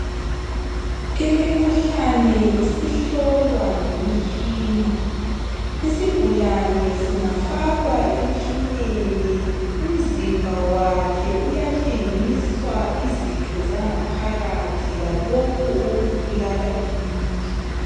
Imikhuhlane isihlolwa ngemitshina. Isigulane singafakwa emtshineni umzimba wakhe uyatshengiswa izitho zangaphakathi lalokhu okubulala umuntu.